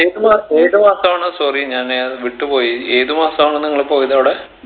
ഏത് മാസ ഏത് മാസാണ് sorry ഞാൻ വിട്ട് പോയി ഏത് മാസാണ് നിങ്ങൾ പോയത് അവിടെ